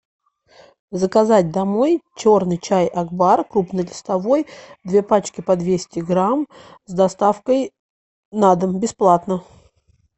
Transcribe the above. заказать домой черный чай акбар крупнолистовой две пачки по двести грамм с доставкой на дом бесплатно